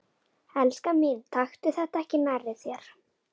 Elskan mín, taktu þetta ekki nærri þér.